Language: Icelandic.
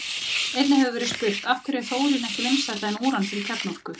Einnig hefur verið spurt: Af hverju er þórín ekki vinsælla en úran fyrir kjarnorku?